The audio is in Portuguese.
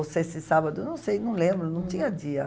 Ou sexta e sábado, não sei, não lembro, não tinha dia.